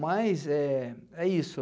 Mas é é isso.